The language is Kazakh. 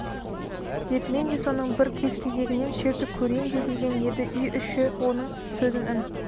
деп мен де соның бір кез-кезегінен шертіп көрейін де деген еді үй іші оның сөзін үн